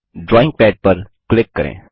drawing pad पर click करें